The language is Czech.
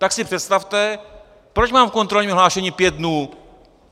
Tak si představte, proč mám u kontrolního hlášení pět dnů?